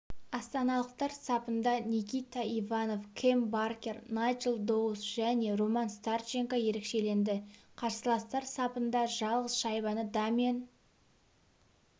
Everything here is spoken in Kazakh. астаналықтар сапынданикита иванов кэм баркер найджел доус және роман старченко ерекшеленді қарсыластар сапында жалғыз шайбаны дамьен